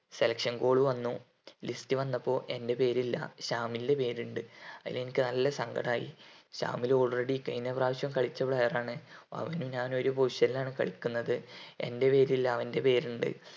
selection call വന്നു list വന്നപ്പോ എൻ്റെ പേര് ഇല്ല ശാമിലിന്റെ പേര് ഇണ്ട് അതിൽ എനിക്ക് നല്ല സങ്കടം ആയി ശാമില് already കഴിഞ്ഞ പ്രാവിശ്യം കളിച്ച player ആണ് അവനും ഞാനും ഒരു position ലാണ് കളിക്കുന്നത് എൻ്റെ പേരില്ല അവൻ്റെ പേര് ഇണ്ട്